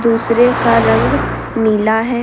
दूसरे का रंग नीला है।